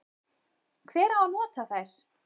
Hver á nota þær?